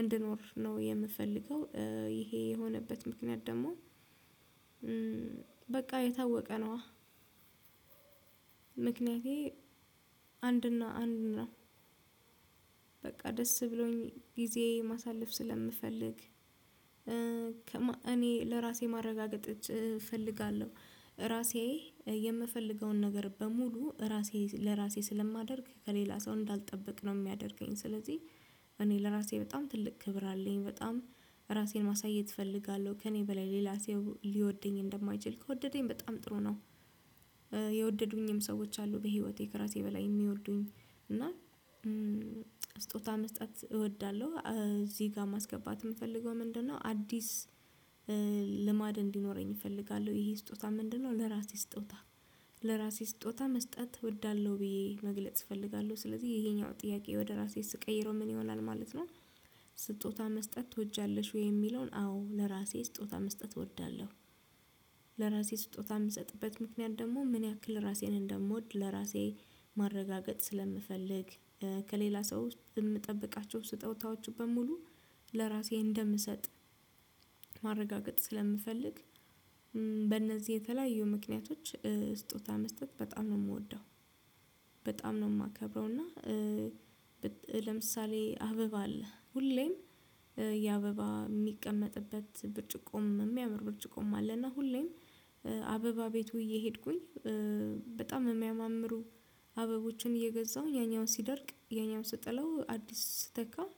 እንድኖር ነው የምፈልገው ይሄ የሆነበት ምክንያት ደግሞ በቃ የታወቀ ነው። ምክንያቴ አንድና አንድ እና በቃ ደስ ብሎኝ ጊዜ ማሳለፍ ስለምፈልግ እኔ ለራሴ ማረጋገጥ እፈልጋለሁ ራሴ የምፈልገውን ነገር በሙሉ ራሴ ለራሴ ስለማደርግ ከሌላ ሰው እንዳልጠበቅነው የሚያደርገኝ ስለዚህ እኔ ለራሴ በጣም ትልቅ ክብር አለኝ በጣም ራሴን ማሳየት እፈልጋለሁ ከእኔ በላይ ሌላ ሰው ሊወደኝ እንደማይችል ከወደደኝ በጣም ጥሩ ነው። የወደዱኝም ሰዎች አሉ በህይወቴ ከእራሴ በላይ የሚወርዱኝ እና ስጦታ መስጠት እወዳለሁ እዚህ ጋር ማስገባት የምፈልገው ምንድነው? አዲስ ልማድ እንዲኖረኝ እፈልጋለሁ። ይሄ ስጦታ ምንድነው? ለራእሴ ስጦታ ለራሴ ስጦታ መስጠት እወዳለሁ ብዬ መግለጽ እፈልጋለሁ ስለዚህ ይሄኛው ጥያቄ ወደ ራሴ ስቀይረው ምን ይሆናል ማለት ነው። ስጦታ መስጠት ትወጃለሽ ወይ የሚለውን? አዎ ለራሴ ስጦታ መስጠት እወዳለሁ። ለራሴ ስጦታ የምሰጥበት ምክንያት ደግሞ ምን ያክል ራሴን እንደምወድ ለራሴ ማረጋገጥ ስለምፈልግ ከሌላ ሰው የምጠብቃቸው ስጦታዎቹ በሙሉ ለራሴ እንደምሰጥ ማረጋገጥ ስለምፈልግ በእነዚህ የተለያዩ ምክንያቶች ስጦታ መስጠት በጣም ነው የምወደው። በጣም ነው የማከብረው። እና ለምሳሌ አበባ አለ ሁሌም የአበባ የሚቀመጥበት ብርጭቆም የሚያምር ብርጭቆም አለና ሁሌም አበባ ቤቱ እየሄድኩኝ በጣም የሚያማምሩ አበቦችን እየገዛሁኝ ያኛውን ሲደርቅ ያኛውን ስጥለው አዲስ ስተካው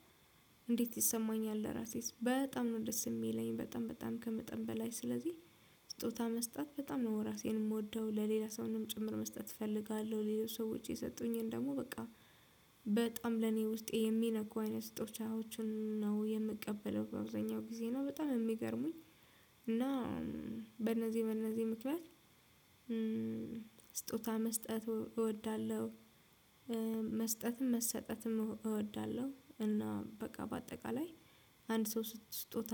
እንዴት ይሰማኛል ለራሴስ በጣም ነው ደስ የሚለኝ በጣም በጣም ከመጠን በላይ ስለዚህ። ስጦታ መስጠት በጣም ነው ራሴን የምወደው ለሌላ ሰውንም ጭምር መስጠት እፈልጋለሁ ሌላ ሰው ውጪ የሰጡኝን ደግሞ በቃ በጣም ለኔ ውስጤ የሚነኩ አይነት ስጦታዎችን ነው የምቀበለው በአብዛኛው ጊዜ ነው በጣም የሚገርሙኝ። እና በእነዚህ በእነዚህ ምክንያት ስጦታ መስጠት እወዳለሁ። መስጠትም መሰጠትም እወዳለሁ እና በቃ በአጠቃላይ አንድ ሰው ስጦታ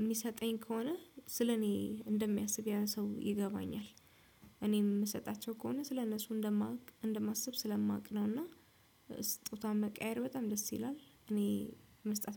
የሚሰጠኝ ከሆነ ስለኔ እንደሚያስብ ያን ሰው ይገባኛል። እኔም የምሰጣቸው ከሆነ ስለነሱ እንደማውቅ እንደማስብ ስለማውቅ ነውና ስጦታውን መቀያየር በጣም ደስ ይላል እኔ መስጠት።